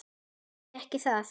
Því ekki það?